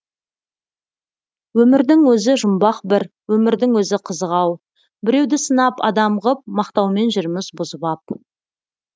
өмірдің өзі жұмбақ бір өмірдің өзі қызық ау біреуді сынап адам ғып мақтаумен жүрміз бұзып ап